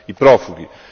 i profughi.